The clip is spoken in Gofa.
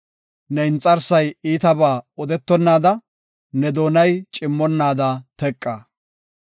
Ne inxarsay iitabaa odetonaada, ne doonay cimmonnaada teqa.